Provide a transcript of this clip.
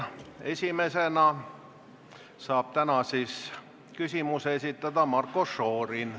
Esimesena saab täna küsimuse esitada Marko Šorin.